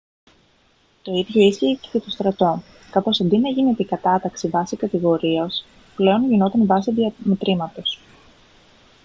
το ίδιο ίσχυε και για το στρατό καθώς αντί να γίνεται η κατάταξη βάσει κατηγορίας πλέον γινόταν βάσει διαμετρήματος